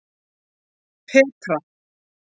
Petra